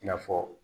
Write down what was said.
I n'a fɔ